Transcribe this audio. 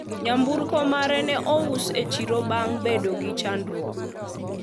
nyamburko mare ne ous e chiro bang bedo gi chandruok